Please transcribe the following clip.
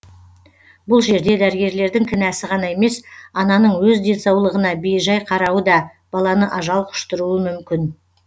бұл жерде дәрігерлердің кінәсі ғана емес ананың өз денсаулығына бей жай қарауы да баланы ажал құштыруы мүмкін